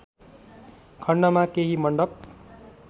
खण्डमा केही मण्डप